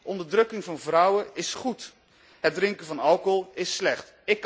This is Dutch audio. Onderdrukking van vrouwen is goed, het drinken van alcohol is slecht.